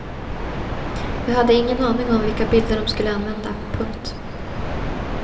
Jag hade ingen aning om vilka bilder de skulle använda. punkt